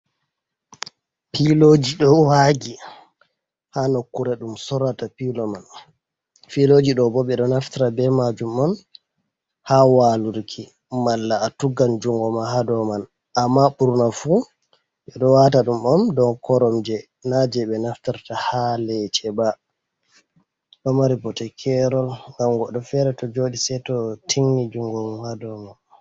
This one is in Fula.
Piiloji. ɗou wagi ha nokkure ɗum Sorata pilo man. Filoji ɗo bo ɓe ɗo naftira be majum'on ha walurki malla atuggan jungo ma hadou man. Amma ɓurna fu ɓe ɗo wata ɗum'on dou Koromje na je ɓe naftirta ha lece ba. Ɗo mari bote Kerol ngam Godɗo Fere to joɗi Seito tigni jungo mum ha dou mai.